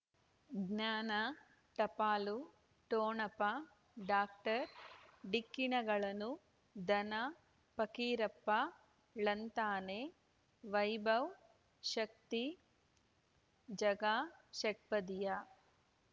ಜ್ಞಾನ ಟಪಾಲು ಠೊಣಪ ಡಾಕ್ಟರ್ ಢಿಕ್ಕಿ ಣಗಳನು ಧನ ಫಕೀರಪ್ಪ ಳಂತಾನೆ ವೈಭವ್ ಶಕ್ತಿ ಝಗಾ ಷಟ್ಪದಿಯ